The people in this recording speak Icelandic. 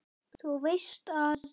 Þú veist að.